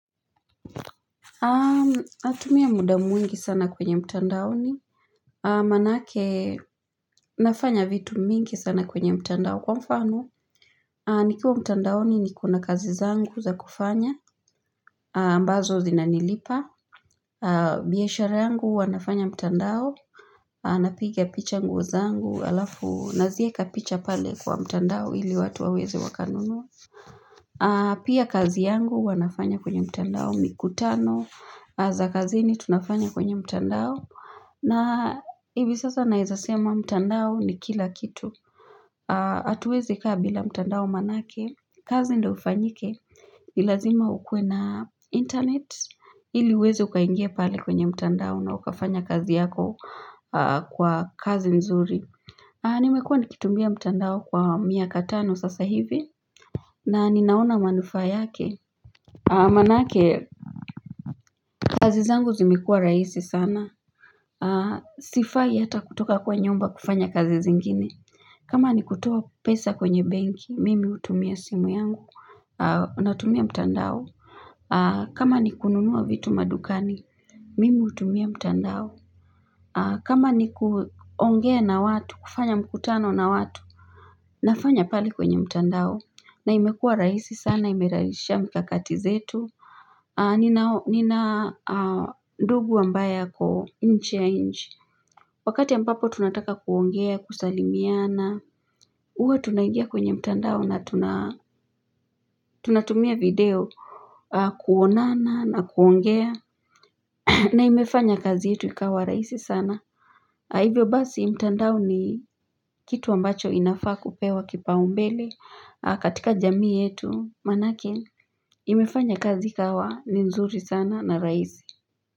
nAtumia muda mwingi sana kwenye mtandao. Maanake nafanya vitu mingi sana kwenye mtandao kwa mfano. Nikiwa mtandaoni nikona kazi zangu za kufanya. Ambazo zina nilipa. Biashara yangu huwa nafanya mtandao. Napiga picha nguo zangu halafu nazieka picha pale kwa mtandao ili watu waweze wakanunua. Pia kazi yangu huwa nafanya kwenye mtandao. Mikutano za kazini tunafanya kwenye mtandao na hivi sasa naezasema mtandao ni kila kitu hatuwezi kaa bila mtandao manake, kazi ndio ifanyike nilazima ukuwe na internet, ili uweze ukaingia pale kwenye mtandao na ukafanya kazi yako kuwa kazi mzuri. Ni mekua nikitumia mtandao kwa miakatano sasa hivi na ninaona manufaa yake. Maanake kazi zangu zimekua rahisi sana. Sifai hata kutoka kwa nyumba kufanya kazi zingine. Kama ni kutoa pesa kwenye benki, mimi hutumia simu yangu. Natumia mtandao. Kama ni kununua vitu madukani, mimi hutumia mtandao. Kama ni kuongea na watu, kufanya mkutano na watu, nafanya pale kwenye mtandao. Na imekua rahisi sana, imerahisha mkakati wetu Nina ndugu ambaye ako nje ya inchi Wakati ambapo tunataka kuongea, kusalimiana hUwa tunangia kwenye mtandao na tunatumia video kuonana na kuongea na imefanya kazi yetu ikawa rahisi sana Hivyo basi mtandao ni kitu ambacho inafaa kupewa kipa umbele katika jamii yetu maanake imefanya kazi ikawa ni nzuri sana na rahisi.